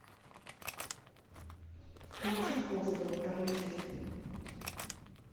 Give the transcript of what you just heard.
включи хостел вторую часть